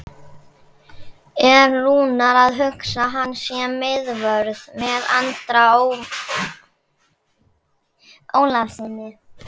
Er Rúnar að hugsa hann sem miðvörð með Andra Ólafssyni?